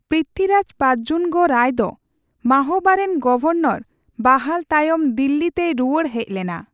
ᱯᱨᱤᱛᱷᱵᱤᱨᱟᱡᱽ ᱯᱟᱡᱡᱩᱱᱜᱚ ᱨᱟᱭ ᱫᱚ ᱢᱟᱦᱳᱵᱟᱨᱮᱱ ᱜᱚᱵᱷᱚᱨᱱᱚᱨ ᱵᱟᱦᱟᱞ ᱛᱟᱭᱚᱢ ᱫᱤᱞᱞᱤ ᱛᱮᱭ ᱨᱩᱣᱟᱹᱲ ᱦᱮᱡ ᱞᱮᱱᱟ ᱾